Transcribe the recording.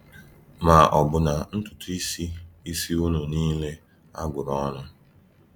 Ma ọbụna ntutuisi isi unu nile a gụrụ ọnụ.